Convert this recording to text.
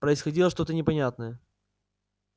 происходило что то непонятное